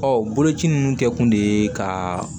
Ɔ boloci ninnu kɛ kun de ye ka